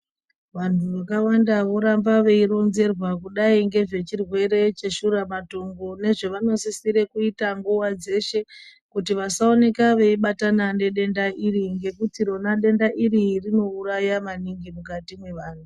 Vantu vakawanda voramba veironzerwa kudai ngezvechirwere cheshura matongo nezvavanosisire kuita nguva dzeshe kuti vasaoneka veibatana nedenda iri ngekuti rona denda iri rinouraya maningi mukati mevanhu.